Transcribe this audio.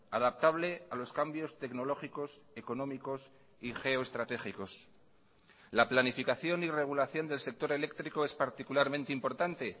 adaptable a los cambios tecnológicos económicos y geoestratégicos la planificación y regulación del sector eléctrico es particularmente importante